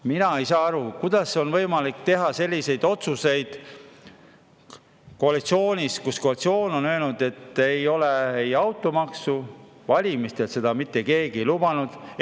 Mina ei saa aru, kuidas on võimalik teha selliseid otsuseid koalitsioonis, kus automaksu ei ole valimistel mitte keegi lubanud.